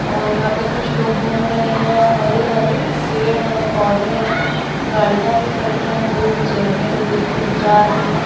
और यहाँ पे कुछ लोग घूम रहे हैं हरे हरे पेड़ हैं पौधे हैं गाड़ियाँ भी खड़ी हैं लोग झरने को देखते हुए जा रहे हैं।